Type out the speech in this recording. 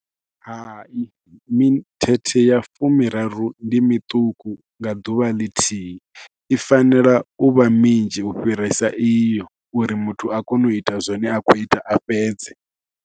Hai mithethe ya fumi raru ndi miṱuku nga ḓuvha ḽithihi, i fanela u vha minzhi u fhirisa iyo uri muthu a kone u ita zwine a khou ita a fhedze.